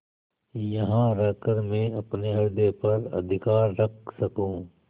यहाँ रहकर मैं अपने हृदय पर अधिकार रख सकँू